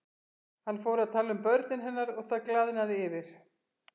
Hann fór að tala um börnin hennar og það glaðnaði yfir